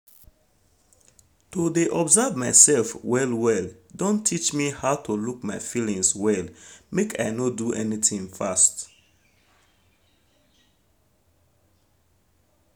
to de observe mysef well well don teach me how to look my feelings well make i no do anything fast